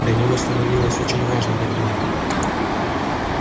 для него становилось очень важно так думать